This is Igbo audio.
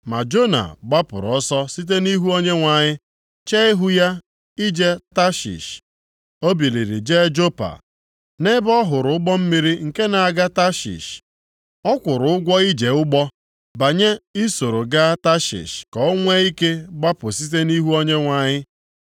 Ma Jona gbapụrụ ọsọ site nʼihu Onyenwe anyị chee ihu ya ije Tashish. O biliri jee Jopa, nʼebe ọ hụrụ ụgbọ mmiri nke na-aga Tashish. Ọ kwụrụ ụgwọ ije ụgbọ, banye isoro gaa Tashish ka o nwee ike gbapụ site nʼihu Onyenwe anyị.